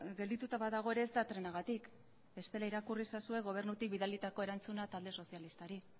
geldituta badago ere ez da trenagatik bestela irakurri ezazue gobernutik bidalitako erantzuna talde sozialistari